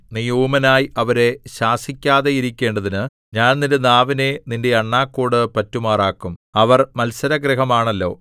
നീ ഊമനായി അവരെ ശാസിക്കാതെയിരിക്കേണ്ടതിന് ഞാൻ നിന്റെ നാവിനെ നിന്റെ അണ്ണാക്കോടു പറ്റുമാറാക്കും അവർ മത്സരഗൃഹമാണല്ലോ